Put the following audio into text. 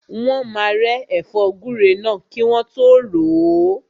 Wọ́n máa rẹ́ ẹ̀fọ́ gúre náà kí wọ́n tọ́ ròó.